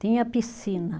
Tinha piscina.